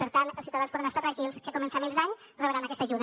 per tant els ciutadans poden estar tranquils que a començaments d’any rebran aquesta ajuda